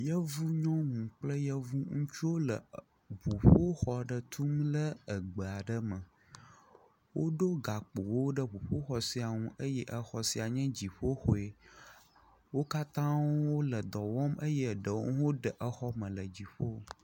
Yevu nyɔnu kple yevu ŋutsuwo le ŋuƒoxɔ aɖe tum ɖe egbe aɖe me. Woɖo gakpowo ɖe ŋuƒoxɔ sia nu eye exɔ sia nye dziƒoxɔe. wo katã wo le dɔ wɔm eye eɖewo hã de exɔ me le dziƒo.